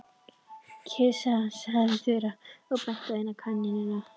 Kisa sagði Þura og benti á eina kanínuna.